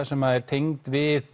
sem er tengd við